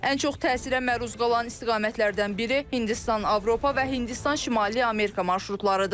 Ən çox təsirə məruz qalan istiqamətlərdən biri Hindistan, Avropa və Hindistan, Şimali Amerika marşrutlarıdır.